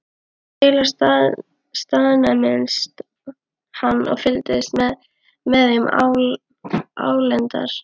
Kela staðnæmdist hann og fylgdist með þeim álengdar.